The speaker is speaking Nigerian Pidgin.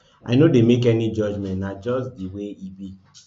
i no dey make any judgement na just di way e be